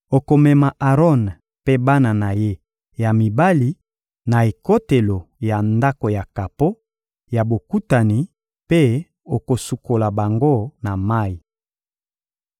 Okomema Aron mpe bana na ye ya mibali na ekotelo ya Ndako ya kapo ya Bokutani mpe okosukola bango na mayi.